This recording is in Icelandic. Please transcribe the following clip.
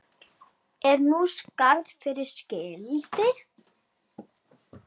Er nú skarð fyrir skildi.